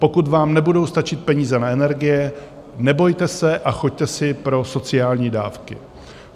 Pokud vám nebudou stačit peníze na energie, nebojte se a choďte si pro sociální dávky.